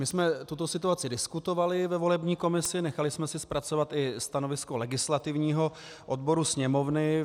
My jsme tuto situaci diskutovali ve volební komisi, nechali jsme si zpracovat i stanovisko legislativního odboru Sněmovny.